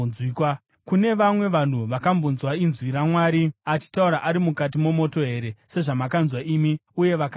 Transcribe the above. Kune vamwe vanhu vakambonzwa inzwi raMwari achitaura ari mukati momoto here, sezvamakanzwa imi uye vakararama?